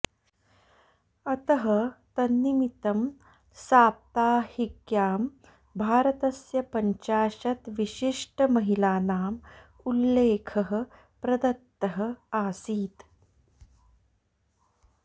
अतः तन्निमितं साप्ताहिक्यां भारतस्य पञ्चाशत् विशिष्टमहिलानाम् उल्लेखः प्रदत्तः आसीत्